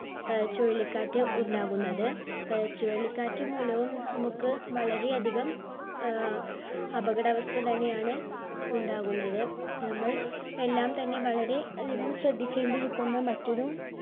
ആഹ് ചുഴലിക്കാറ്റ് ഉണ്ടാകുന്നത് ആഹ് ചുഴലിക്കാറ്റ് മൂലവും നമ്മുക്ക് വളരെ അധികം ആഹ് അപകടാവസ്ഥ തന്നെയാണ് ഉണ്ടാകുന്നത് നമ്മൾ എല്ലാം തന്നെ വളരെ അധികം ശ്രദ്ധിക്കേണ്ടിരിക്കുന്ന മറ്റൊരു